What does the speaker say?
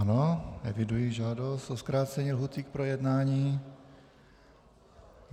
Ano, evidují žádost o zkrácení lhůty k projednání.